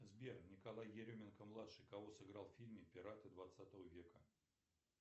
сбер николай еременко младший кого сыграл в фильме пираты двадцатого века